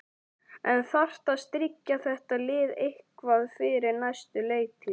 En þarf að styrkja þetta lið eitthvað fyrir næstu leiktíð?